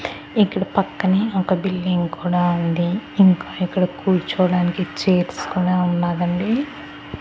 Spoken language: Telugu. ఇక్కడ పక్కనే ఒక బిల్డింగ్ కూడా ఉంది. ఇంకా ఇక్కడ కూర్చోవడానికి చైర్స్ కూడా ఉన్నాదండి .